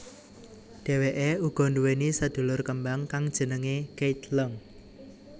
Dheweké uga nduwèni sedulur kembar kang jenengé Keith Leung